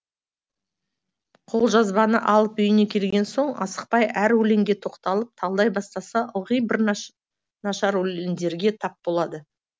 қолжазбаны алып үйіне келген соң асықпай әр өлеңге тоқталып талдай бастаса ылғи бір нашар өлеңдерге тап болады